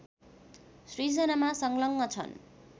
सृजनामा संलग्न छन्